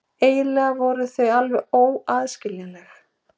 Eiginlega voru þau alveg óaðskiljanleg.